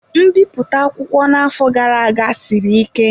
Nbipụta akwụkwọ na-afọ gara aga siri ike.